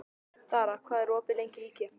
Dara, hvað er opið lengi í IKEA?